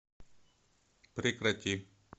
прекрати